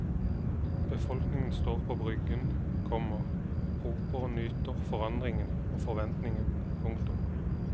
Befolkningen står på bryggen, komma roper og nyter forandringen og forventningen. punktum